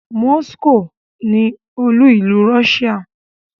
Moscow ni olú-ìlú Russia.